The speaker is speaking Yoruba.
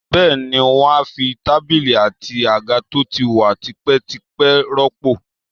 Bẹ́ẹ̀ ni, wọ́n á fi tábìlì àti àga tó ti wà tipẹ́tipẹ́ rọ́pò